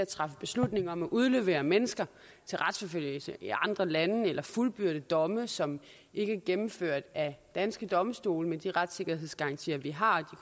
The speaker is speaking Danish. træffe beslutninger om at udlevere mennesker til retsforfølgelse i andre lande eller fuldbyrde domme som ikke er gennemført af danske domstole med de retssikkerhedsgarantier vi har og